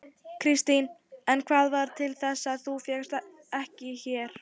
Kristín: En hvað varð til þess að þú fékkst þér ekki?